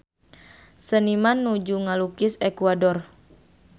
Seniman nuju ngalukis Ekuador